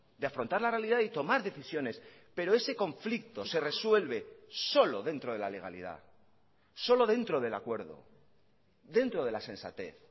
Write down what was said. de afrontar la realidad y tomar decisiones pero ese conflicto se resuelve solo dentro de la legalidad solo dentro del acuerdo dentro de la sensatez